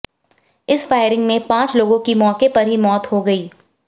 इस फायरिंग में पांच लोगों की मौके पर ही मौत हो गई